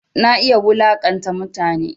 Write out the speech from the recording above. Na iya wulaƙanta mutane